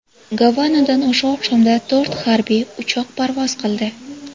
Gavanadan o‘sha oqshomda to‘rt harbiy uchoq parvoz qildi.